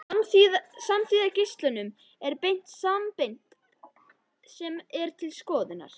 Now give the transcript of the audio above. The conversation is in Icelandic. Samsíða geislum er beint að sameind sem er til skoðunar.